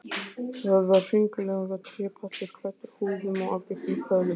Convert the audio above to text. Það var hringlaga trépallur, klæddur húðum og afgirtur með köðlum.